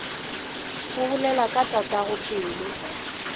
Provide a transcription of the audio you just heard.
o bolela ka tatago pelo